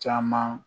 Caman